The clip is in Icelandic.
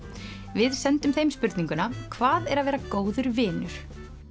við sendum þeim spurninguna hvað er að vera góður vinur